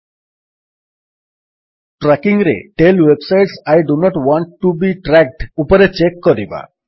tracking ରେ tell websites I do not want to be tracked ଉପରେ check କରିବା